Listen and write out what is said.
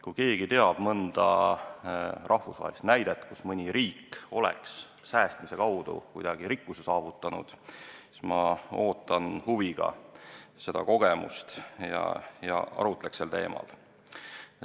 Kui keegi teab mõnda rahvusvahelist näidet selle kohta, et mõni riik on säästmise abil kuidagi rikkuse saavutanud, siis ma ootan huviga seda infot ja arutleks sel teemal.